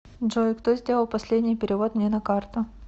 джой кто сделал последний перевод мне на карту